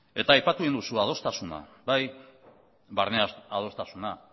eta aipatu egin duzu adostasuna bai barne adostasuna